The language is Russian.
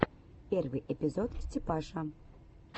первый эпизод степаша